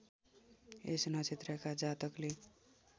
यस नक्षत्रका जातकले